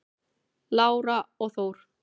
Lára og Þór.